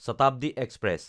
Shatabdi express